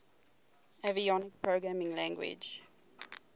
avionics programming language